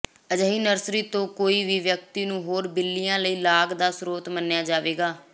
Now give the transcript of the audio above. ਅਜਿਹੀ ਨਰਸਰੀ ਤੋਂ ਕੋਈ ਵੀ ਵਿਅਕਤੀ ਨੂੰ ਹੋਰ ਬਿੱਲੀਆਂ ਲਈ ਲਾਗ ਦਾ ਸਰੋਤ ਮੰਨਿਆ ਜਾਵੇਗਾ